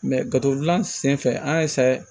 gafe dilan sen fɛ an y'a